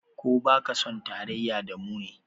Ko ba ka son tarayya da mu ne?